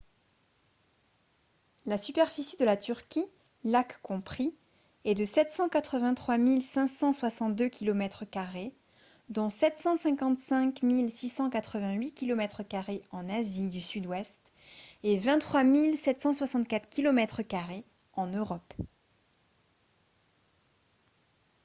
la superficie de la turquie lacs compris est de 783 562 kilomètres carrés dont 755 688 kilomètres carrés en asie du sud-ouest et 23 764 kilomètres carrés en europe